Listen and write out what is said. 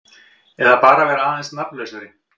Eða bara vera aðeins nafnlausari.